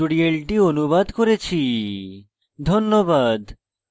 ধন্যবাদ